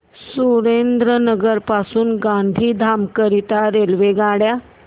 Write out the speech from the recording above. सुरेंद्रनगर पासून गांधीधाम करीता रेल्वेगाड्या